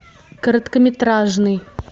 короткометражный